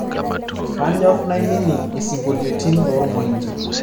kanyor nainining' isingolioitin loormoindi